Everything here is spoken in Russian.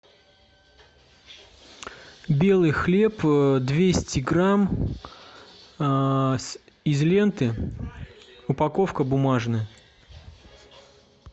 белый хлеб двести грамм из ленты упаковка бумажная